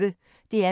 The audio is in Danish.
DR P1